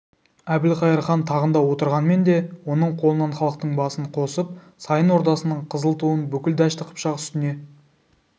әбілқайыр хан тағында отырғанмен де оның қолынан халықтың басын қосып сайын ордасының қызыл туын бүкіл дәшті қыпшақ үстіне